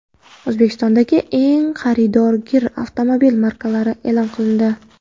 O‘zbekistondagi eng xaridorgir avtomobil markalari e’lon qilindi.